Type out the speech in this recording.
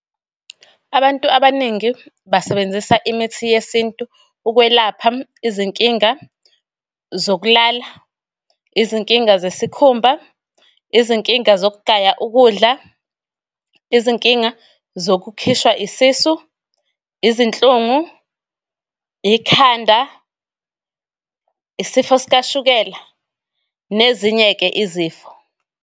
Abantu abaningi basebenzisa imithi yesintu ukwelapha izinkinga zokulala, izinkinga zesikhumba, izinkinga zokugaya ukudla, izinkinga zokukhishwa isisu, izinhlungu, ikhanda, isifo sikashukela, nezinye-ke izifo.